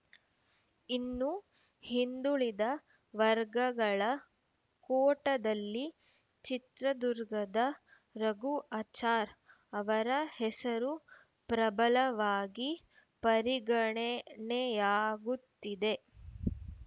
ಇನ್ನು ಹಿಂದುಳಿದ ವರ್ಗಗಳ ಕೋಟಾದಲ್ಲಿ ಚಿತ್ರದುರ್ಗದ ರಘು ಆಚಾರ್‌ ಅವರ ಹೆಸರು ಪ್ರಬಲವಾಗಿ ಪರಿಗನೆನೆಯಾಗುತ್ತಿದೆ